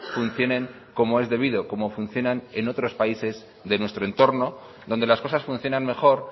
funcionen como es debido como funcionan en otros países de nuestro entorno donde las cosas funcionan mejor